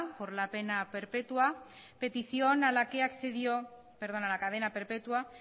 por la cadena perpetua